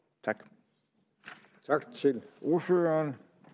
tak til ordføreren